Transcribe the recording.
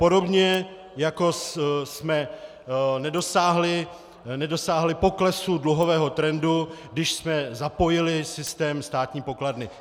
Podobně, jako jsme nedosáhli poklesu dluhového trendu, když jsme zapojili systém státní pokladny.